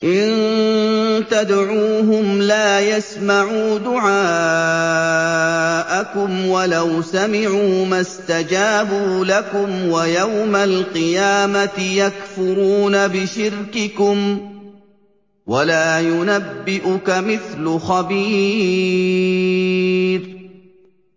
إِن تَدْعُوهُمْ لَا يَسْمَعُوا دُعَاءَكُمْ وَلَوْ سَمِعُوا مَا اسْتَجَابُوا لَكُمْ ۖ وَيَوْمَ الْقِيَامَةِ يَكْفُرُونَ بِشِرْكِكُمْ ۚ وَلَا يُنَبِّئُكَ مِثْلُ خَبِيرٍ